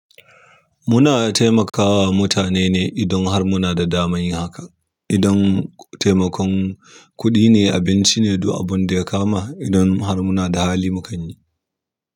Muna taimakawa mutane ne idan har muna da damar yin haka. Idan taimakon kuɗi ne, abinci ne du abun da ya kama, idan har muna da hali mu kan yi.